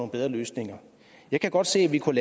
bedre løsninger jeg kan godt se at vi kunne